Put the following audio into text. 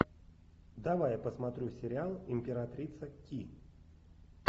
давай я посмотрю сериал императрица ки